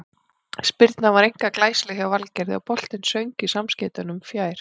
Spyrnan var einkar glæsileg hjá Valgerði og boltinn söng í samskeytunum fjær.